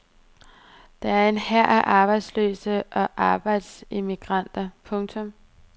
Der er en hær af arbejdsløse og arbejdsemigranter. punktum